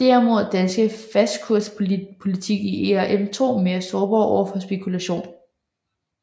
Derimod er Danmarks fastkurspolitik i ERM2 mere sårbar overfor spekulation